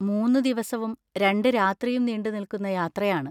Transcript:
മൂന്ന് ദിവസവും രണ്ട് രാത്രിയും നീണ്ടുനിൽക്കുന്ന യാത്രയാണ്.